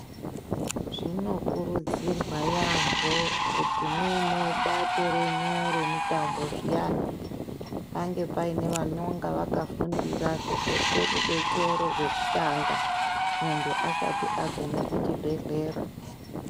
Zvinokurudzirwa yambo kuti mwuine bato renyu remitambo zviyani pange paine vanonga vakafundira kuzope rubetsero rwekutanga muntu asati agume kuchibhehlera.